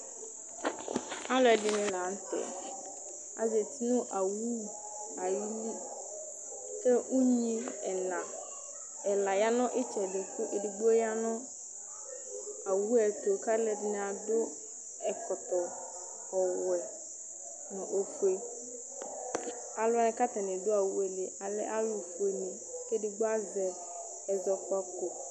alo ɛdini lantɛ azati no owu ayili kò unyi ɛla ɛla ya no itsɛdi kò edigbo ya no owu yɛ to k'alo ɛdini adu ɛkɔtɔ ɔwɔ no ofue alo wani k'atani do owu yɛ li alɛ alo fue ni kò edigbo azɛ ɛzɔkpako